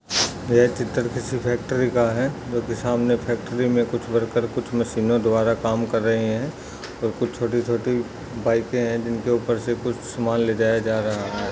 ये चित्र किसी फ़ैक्टरी का है जो की सामने फ़ैक्टरी में कुछ वर्कर कुछ मशीनों द्वारा काम कर रहे है और कुछ छोटी-छोटी बाइके है जिनके ऊपर से कुछ समान ले जाया जा रहा है।